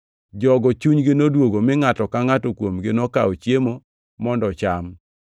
Jogo chunygi noduogo, mi ngʼato ka ngʼato kuomgi nokawo chiemo mondo ocham.